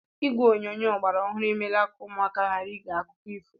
Igwe onyonyo ọgbara ọhụrụ emeela ka ụmụaka ghara ige akụkọ ifo.